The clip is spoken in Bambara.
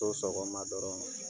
sɔgɔma dɔrɔn.